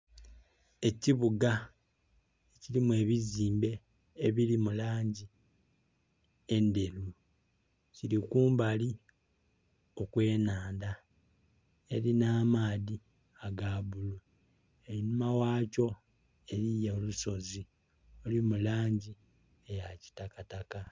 Ekibuga kilimu ebizimbe ebili mu langi endheru kili kumbali okwe nhandha elina amaadhi aga bulu, einhuma gha kyo eriyo olusozi oluli mu langi eya kitakataka.